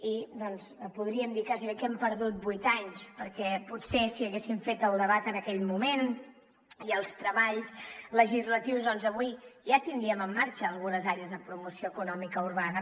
i podríem dir gairebé que hem perdut vuit anys perquè potser si haguéssim fet el debat en aquell moment i els treballs legislatius doncs avui ja tindríem en marxa algunes àrees de promoció econòmica urbana